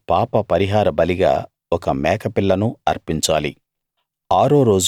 అలాగే పాపపరిహార బలిగా ఒక మేకపిల్లను అర్పించాలి